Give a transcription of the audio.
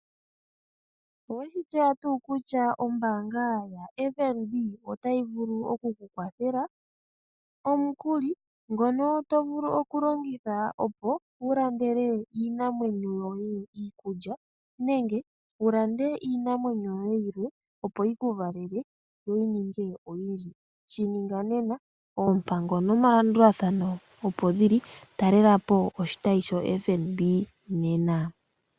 Oweshi tseya tuu kutya ombaanga ya FNB. Ota yi vulu oku kukwathela omukuli ngono to vulu okulongitha opo wu landele iinamwenyo yoye iikulya, nenge wu lande iinamwenyo yoye yilwe opo yi ku valele, yo yi ninge oyindji shininga nena. Oompango nomalandulathano opo dhili. Talela po oshitayi sho FNB nena.